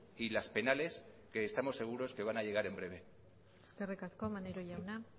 y las penales que estamos seguro que van a llegar en breve eskerrik asko maneiro jauna